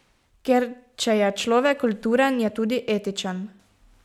Ker če je človek kulturen, je tudi etičen.